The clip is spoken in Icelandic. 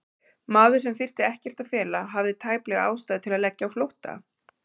Maður, sem þyrfti ekkert að fela, hafði tæplega ástæðu til að leggja á flótta?